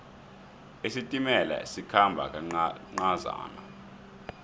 isitimela sikhamba kancazana